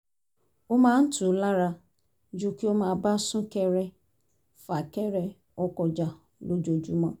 ó máa ń tù ú lára ju kó máa bá sún-kẹrẹ-fà-kẹrẹ ọkọ̀ jà lójoojúmọ́